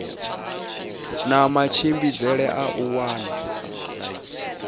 na matshimbidzele a u wana